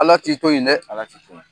Ala t'i to yi dɛ. Ala t'i to yi.